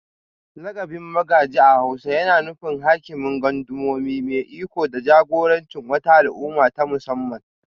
Lakabin Magaji a hausa yana nufin Hakimin Gundumomi, mai iko da jagorancin wata al'umma ta musamman